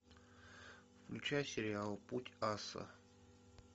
включай сериал путь аса